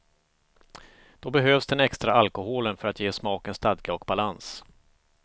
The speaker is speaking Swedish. Då behövs den extra alkoholen för att ge smaken stadga och balans.